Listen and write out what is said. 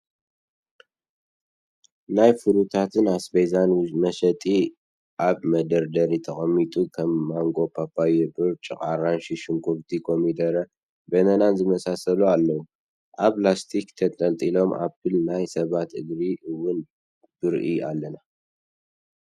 ናይ ፍሩታትን ኣስቤዛን መሸጢ ኣብ መደርደሪ ተቀሚጡ ከም ማንጎ፣ ፓፓያ፣ ብርጭቅ፣ ኣራንሺ፣ ሽጉርቲ፣ ኮሚደረን በነናን ዝመሳሰሉ ኣለዉ ኣብ ላስቲክ ተንጠልጢሉ ኣፕል ናይ ሰባት እግሪ እውን ብርኢ ኣለና።